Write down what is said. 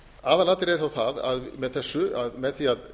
aðalatriðið er þó það með þessu að með því að